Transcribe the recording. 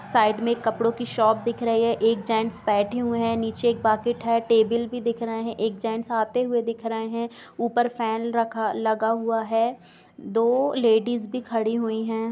Side में एक कपड़ों की शॉप दिख रही है एक जेन्ट्स बैठे हुए हैं नीचे एक बकेट है टेबल भी दिख रहें हैं एक जेन्ट्स आते हुए दिख रहें हैं ऊपर फैन रखा लगा हुआ है दो लेडिस भी खड़ी हुई हैं।